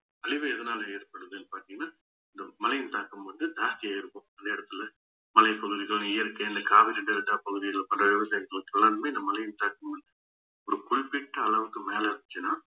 அழிவு எதனால ஏற்படுதுன்னு பாத்தீங்கன்னா இந்த மழையின் தாக்கம் வந்து தாக்கி இருக்கும் அந்த இடத்துல மலைப்பகுதிகள் இயற்கை இந்த காவிரி delta பகுதிகள்ல பல விவசாயிகளுக்கு எல்லாருமே இந்த மழை தாக்கம் ஒரு குறிப்பிட்ட அளவுக்கு மேலஇருந்துச்சுன்னா